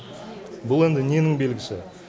бұл енді ненің белгісі